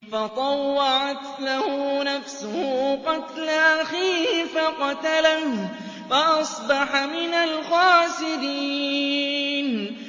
فَطَوَّعَتْ لَهُ نَفْسُهُ قَتْلَ أَخِيهِ فَقَتَلَهُ فَأَصْبَحَ مِنَ الْخَاسِرِينَ